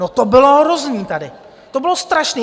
No, to bylo hrozné tady, to bylo strašné.